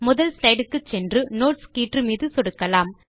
முதல் ஸ்லைடு க்கு சென்று நோட்ஸ் கீற்று மீது சொடுக்கலாம்